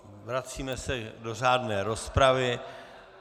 Vracíme se do řádné rozpravy.